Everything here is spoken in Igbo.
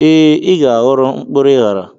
ee, ị ga-aghọrọ, mkpụrụ ịghara